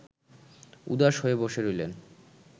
উদাস হয়ে বসে রইলেন